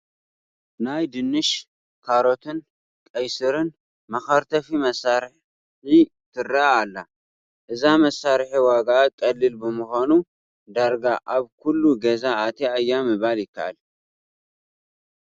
ናይ ድንሽ፣ ካሮትን ቀይስርን መኸርተፊ መሳርሒ ትርአ ኣላ፡፡ እዛ መሳርሒ ዋግኣ ቀሊል ብምዃኑ ዳርጋ ኣብ ኩሉ ገዛ ኣትያ እያ ምባል ይከኣል፡፡